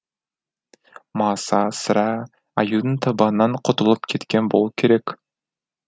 маса сірә аюдың табанынан құтылып кеткен болу керек